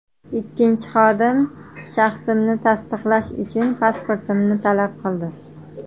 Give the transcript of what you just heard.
Ikkinchi xodim shaxsimni tasdiqlash uchun pasportimni talab qildi.